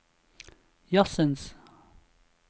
jazzens